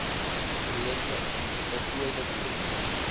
projekte voltooide projekte